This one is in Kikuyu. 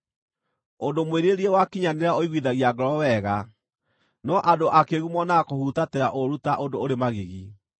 Ũndũ mwĩrirĩrie wakinyanĩra ũiguithagia ngoro wega, no andũ akĩĩgu monaga kũhutatĩra ũũru ta ũndũ ũrĩ magigi.